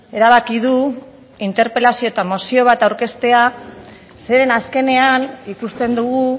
erabaki du interpelazio eta mozio bat aurkeztea zeren azkenean ikusten dugu